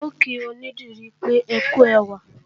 N ò kí onídìrí pé ókú ẹwà